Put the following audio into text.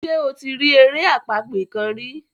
ṣe o ti ri èrè àpagbè kán kán?